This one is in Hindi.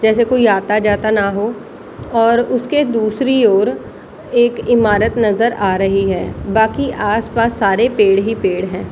जैसे कोई आता-जाता ना हो और उसके दूसरी ओर एक इमारत नजर आ रही है बाकि आस-पास सारे पेड़ ही पेड़ है |